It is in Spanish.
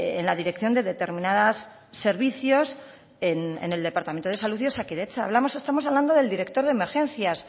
en la dirección de determinados servicios en el departamento de salud y osakidetza estamos hablando del director de emergencias